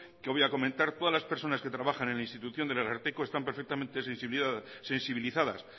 que voy a comentar todas las personas que trabajan en la institución del ararteko están perfectamente sensibilizadas